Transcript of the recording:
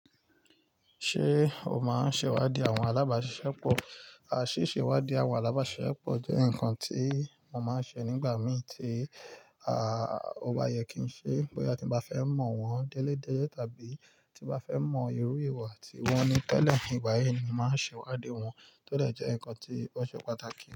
Ṣé o máa ń ṣe ìwádìí àwọn alábàáṣiṣẹ́ pọ̀? À sise ìwádìí àwọn alábáṣiṣẹ́ pọ̀ jẹ́ nǹkan tí mo máa ń ṣe nígbà mì tí, à, ọba yẹ kí n ṣe. Bóyá tí mo bá fẹ́ mọ̀ wọ́n déle dele tàbí tí mo bá fẹ́ mọ ìrú ìwà tí wọ́n ní tẹ́lẹ̀. Nígbà yi ni mo máa ń ṣe ìwádìí wọn, tó lè jẹ́ nǹkan tí ó ṣe pàtàkì.